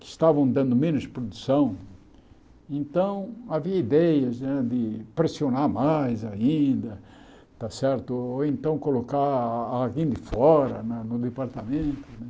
que estavam dando menos produção, então havia ideias né de pressionar mais ainda está certo, ou então colocar alguém de fora na no departamento né.